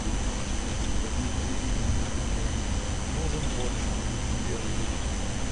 нужен борщ свежий